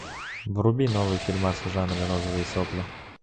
вруби новый фильмас в жанре розовые сопли